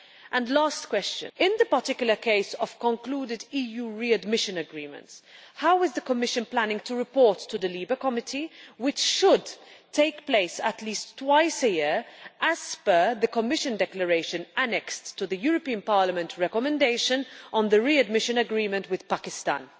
And lastly, in the particular case of concluded EU readmission agreements, how is the Commission planning to report to the LIBE Committee, which it should do at least twice a year as per the Commission declaration annexed to the European Parliament recommendation on the readmission agreement with Pakistan?